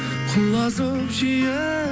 құлазып жиі